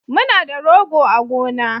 Muna da rogo a gona